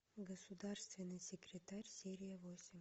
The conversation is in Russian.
государственный секретарь серия восемь